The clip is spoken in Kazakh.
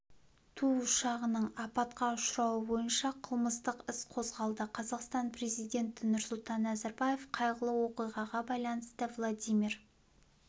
ту ұшағының апатқа ұшырауы бойынша қылмыстық іс қозғалды қазақстан президенті нұрсұлтан назарбаев қайғылы оқиғаға байланысты владимир